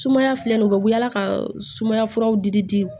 Sumaya filɛ nin ye u bɛ wulila ka sumaya furaw di